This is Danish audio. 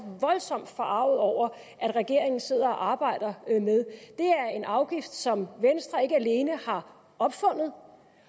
voldsomt forarget over at regeringen sidder og arbejder med er en afgift som venstre ikke alene har opfundet